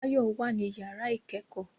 Báyọ̀ wà nínú yàrá ìkẹ́kọ̀ọ́